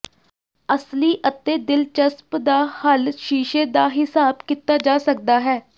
ਅਸਲੀ ਅਤੇ ਦਿਲਚਸਪ ਦਾ ਹੱਲ ਸ਼ੀਸ਼ੇ ਦਾ ਿਹਸਾਬ ਕੀਤਾ ਜਾ ਸਕਦਾ ਹੈ